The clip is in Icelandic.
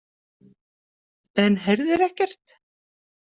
En heyrðir ekkert?